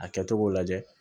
A kɛcogo lajɛ